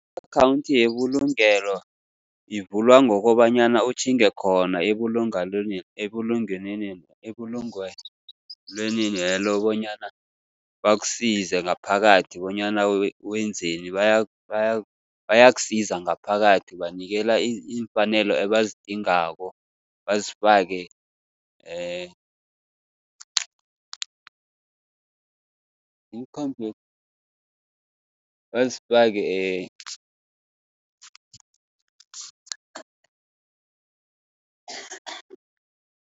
I-akhawunthi yebulungelo ivulwa ngokobanyana utjhinge khona, ebulungelwenelo bonyana bakusize ngaphakathi bonyana wenzeni. Bayakusiza ngaphakathi ubanikela iimfanelo ebazidingako bazifake bazifake